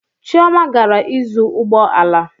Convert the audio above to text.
Chioma gara ịzụ ụgbọ ala